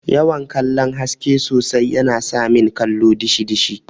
yawan kallon haske sosai yana samin kallo dishi dishi.